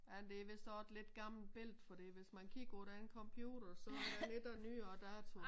Men det hvis også et lidt gammelt billedet fordi hvis man kigger på den computer så den ikke af nyere dato